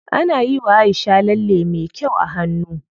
Ana yiwa Aisha lalle me kyau a hannu.